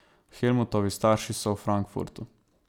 Helmutovi starši so v Frankfurtu.